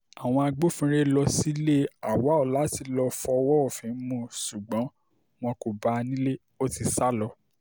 àwọn agbófinró lọ sílé auwal láti lọ fọwọ́ òfin mú ṣùgbọ́n wọn kò bá a nílé ó ti sá lọ